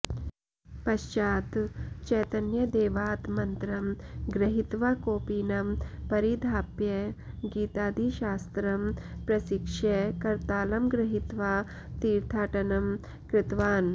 पश्चात् चैतन्यदेवात् मन्त्रं गृहीत्वा कौपीनं परिधाप्य गीतादिशास्त्रं प्रशिक्ष्य करतालं गृहीत्वा तीर्थाटनं कृतवान्